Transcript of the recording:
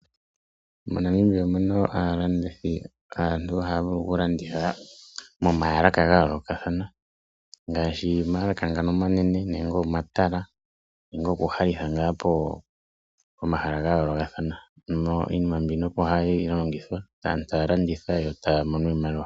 MoNamibia omuna aantu haya vulu okulanditha momahala ga yoolokathana ngaashi omayalaka omanene, omatala noshowo omahala mpono hapu ningilwa oopenzela. Aantu opo haya landitha mpoka yo taa mono iimaliwa.